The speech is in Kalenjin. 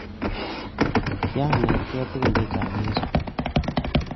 Kianetkei tukun chechang eng sukul.